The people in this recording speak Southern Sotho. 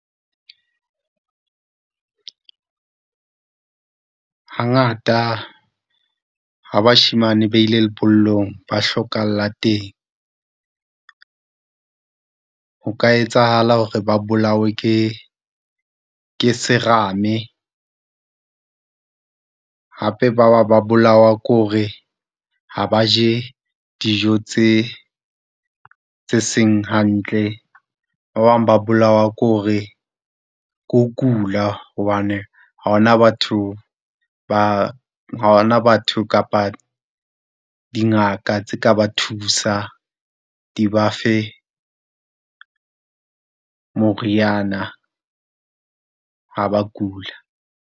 Hangata ha bashemane ba ile lebollong ba hlokahala teng. Ho ka etsahala hore ba bolawe ke, ke serame. Hape ba bang ba bolawa ke hore ha ba je dijo tse, tse seng hantle. Ba bang ba bolawa ke hore, ke ho kula hobane ha hona batho ba, ha ho na batho kapa dingaka tse ka ba thusa di ba fe moriana ha ba kula.